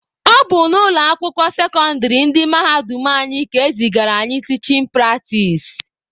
Ọ bụ na ụlọ akwụkwọ sekọndịrị ndị mahadum anyị ka e zigara anyị tichin pratis.